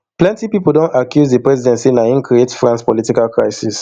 plenty pipo don accuse di president say na im create france political crisis